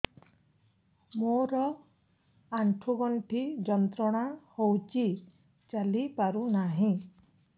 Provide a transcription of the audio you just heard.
ମୋରୋ ଆଣ୍ଠୁଗଣ୍ଠି ଯନ୍ତ୍ରଣା ହଉଚି ଚାଲିପାରୁନାହିଁ